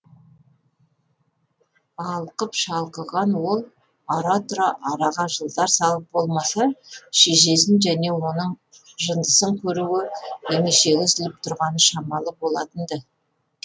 алқып шалқыған ол ара тұра араға жылдар салып болмаса шешесін және оның жындысын көруге емешегі үзіліп тұрғаны шамалы болатын ды